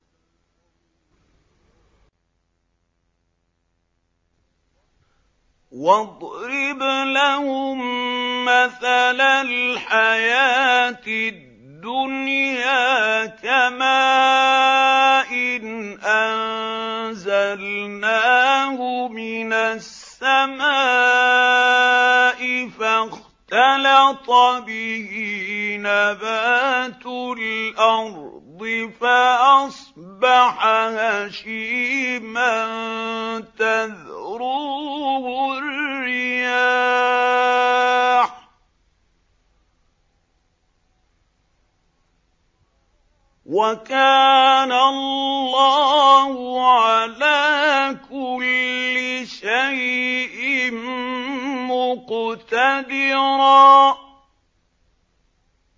وَاضْرِبْ لَهُم مَّثَلَ الْحَيَاةِ الدُّنْيَا كَمَاءٍ أَنزَلْنَاهُ مِنَ السَّمَاءِ فَاخْتَلَطَ بِهِ نَبَاتُ الْأَرْضِ فَأَصْبَحَ هَشِيمًا تَذْرُوهُ الرِّيَاحُ ۗ وَكَانَ اللَّهُ عَلَىٰ كُلِّ شَيْءٍ مُّقْتَدِرًا